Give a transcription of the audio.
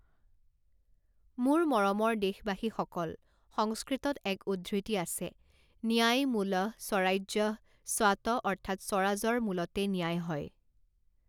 মোৰ মৰমৰ দেশবাসীসকল, সংস্কৃতত এক উদ্ধৃতি আছে, ন্যায়মুলঃ স্বৰাজ্যঃ স্বাত অৰ্থাৎ স্বৰাজৰ মূলতে ন্যায় হয়।